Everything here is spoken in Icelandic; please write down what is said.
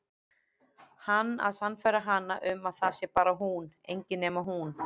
Hann að sannfæra hana um að það sé bara hún, engin nema hún.